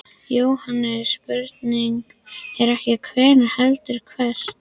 JÓHANNES: Spurningin er ekki hvenær heldur hvert.